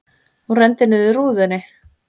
Hún renndi niður rúðunni.